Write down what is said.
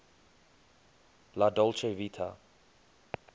la dolce vita